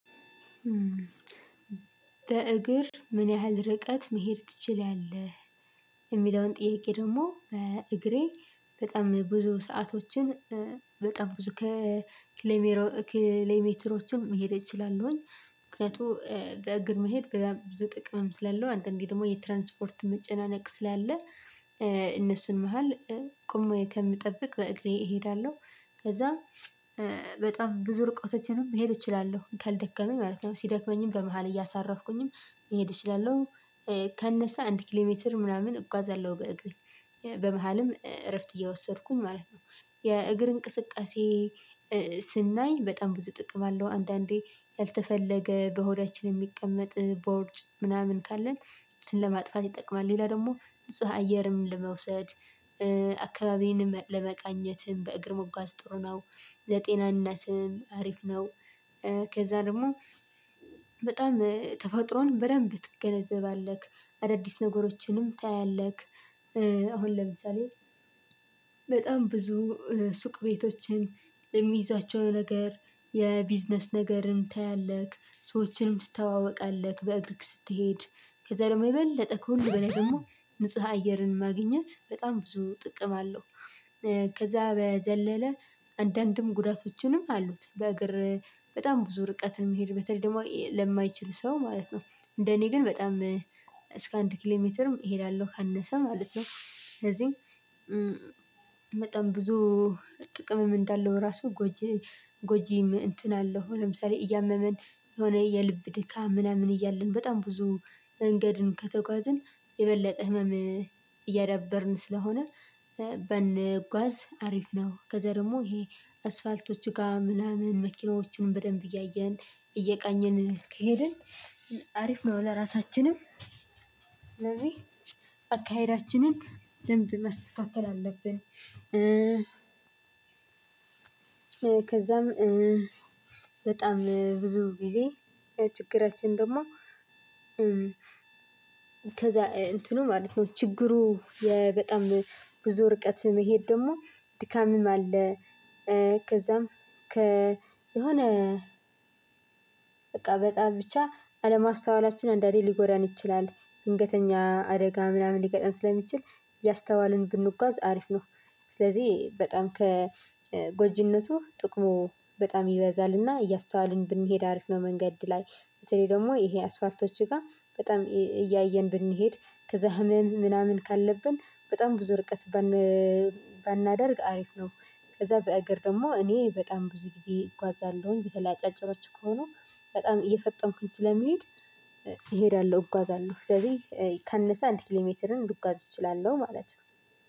በእግር ምን ያህል ርቀት መሄድ ትችላለህ የሚለውን ጥያቄ ደግሞ በእግሬ በጣም ብዙ ሰአቶችን በጣም ብዙ ከክሌሜሮ ክሌሜትሮችን መሄድ እችላለሁኝ። ምክንያቱም በእግር መሄድ በጣም ብዙ ጥቅም ስላለው አንድ አንዴ ደግሞ የትራንስፖርት መጨናነቅ ስላለ እነሱን መሃል ቆሞ ከምጠብቅ በእግሬ እሄዳለሁ። ከዛ በጣም ብዙ ርቀቶችንም መሄድ እችላለሁ ካልደከመኝ ማለት ነው። ሲደክመኝም በመሃል እያሳረፍኩኝም መሄድ እችላለሁ። ካነሰ አንድ ኪሌ ሜትር ምናምን እጓዛለሁ በእግር በመሃልም እረፍት እየወሰድኩም ማለት ነው። የእግር እንቅስቃሴ ስናይ በጣም ብዙ ጥቅም አለው አንዳንዴ ያልተፈለገ በሆዳችን የሚቀመጥ ቦርጭ ምናምን ካለን እሱን ለማጥፋት ይጠቅማል። ሌላ ደግሞ ንጹህ አየርም ለመውሰድ አካባቢንም ለመቃኘትም በእግር መጓዝ ጥሩ ነው። ለጤንነትም አሪፍ ነው። ከዛ ደግሞ በጣም ተፈጥሮን በደንብ ትገነዘባለህ አዳዲስ ነገሮችንም ታያለህ። አሁን ለምሳሌ በጣም ብዙ ሱቅ ቤቶችን የሚይዛቸው ነገር የቢዝነስ ነገርን ታያለህ ሰዎችንም ትተዋወቃለህ በእግርህ ስትሄድ ከዛ ደግሞ የምበል ለጠቀለ ከሁሉ በላይ ደግሞ ንጹህ አየርን ማግኘት በጣም ብዙ ጥቅም አለው። ከዛ በዘለለ አንዳንድም ጉዳቶችንም አሉት በእግር በጣም ብዙ ርቀትን መሄድ በተለይ ደግሞ ለማይችል ሰው ማለት ነው። እንደ እኔ ግን በጣም እስከ አንድ ኪሌ ሜትርም እሄዳለሁ ካነሰ ማለት ነው። ከዚህ በጣም ብዙ ጥቅም ምን እንዳለው ራሱ ጎጂ ጎጂም እንትን አለው ለምሳሌ እያመመን የሆነ የልብ ድካም ምናምን እያለን በጣም ብዙ መንገድን ከተጓዝን የበለጠ ህመም እያዳበርን ስለሆነ ባንጓዝ አሪፍ ነው። ከዛ ደግሞ ይሄ አስፋልቶች ጋር ምናምን መኪናዎችንም በደንብ እያየን እየቃኘን ኬድን ከሄድን አሪፍ ነው። ለራሳችንም ስለዚህ አካሄዳችንን መስተካከል አለብን። ከዛም በጣም ብዙ ጊዜ ችግራችን ደግሞ ከዛ እንትኑ ማለት ነው። ችግሩ በጣም ብዙ ርቀት መሄድ ደግሞ ድካምም አለ። ከዛም ከ የሆነ በቃ በጣም ብቻ አለማስተዋላችን እንደሌለ ሊጎዳን ይችላል ድንገተኛ አደጋ ምናምን ሊገጥም ስለሚችል እያስተዋልን ብንጓዝ አሪፍ ነው። ስለዚህ በጣም ከጎጂነቱ ጥቅሙ በጣም ይበዛልና እያስተዋልን ብንሄድ አሪፍ ነው። መንገድ ላይ በተለይ ደግሞ ይሄ አስፋልቶች ጋር በጣም እያየን ብንሄድ ከዛ ህመም ምናምን ካለብን በጣም ብዙ ርቀት ባናደርግ አሪፍ ነው። ከዛ በአገር ደግሞ እኔ በጣም ብዙ ጊዜ እጓዛለሁኝ በተለያያ ጭራጭሮች ከሆኑ በጣም እየፈጠንኩኝ ስለሚሄድ እሄዳለሁ እጓዛለሁ ስለዚህ ካነሰ አንድ ኪሌሜትርም ለጓዝ እችላለሁ ማለት ነው።